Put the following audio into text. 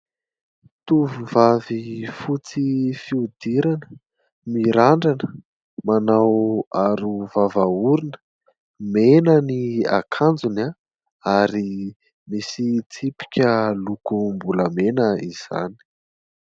Tovovavy fotsy fihodirana, mirandrana, manao aro vava orona, mena ny akanjony ary misy tsipika lokombolamena izany.